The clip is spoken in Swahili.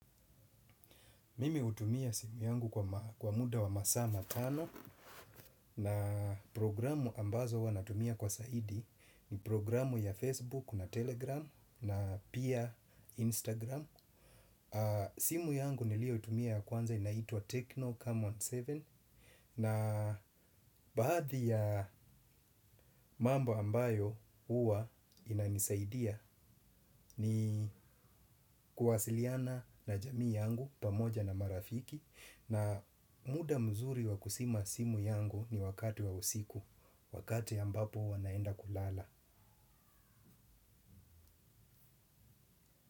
Mimi hutumia simu yangu kwa muda wa masaa matano. Na programu ambazo huwa natumia kwa zaidi ni programu ya Facebook na Telegram na pia Instagram. Simu yangu nilio tumia ya kwanza inaitua Tecno Comon saba. Na baadhi ya mambo ambayo huwa inanisaidia ni kuwasiliana na jamii yangu pamoja na marafiki. Na muda mzuri wa kuzima simu yangu ni wakati wa usiku wakati ambapo huwa naenda kulala.